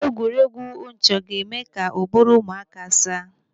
Egwuregwu nchọ ga-eme ka ụbụrụ ụmụaka saa.